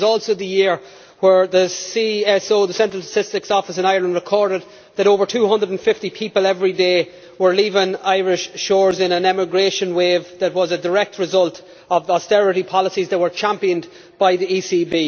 It was also the year when the Central Statistics Office in Ireland recorded that over 250 people every day were leaving Irish shores in an emigration wave that was a direct result of the austerity policies that were championed by the ECB.